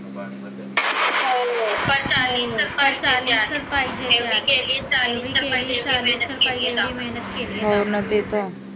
हो ना ते तर आहे